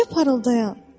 Balaca parıldayan.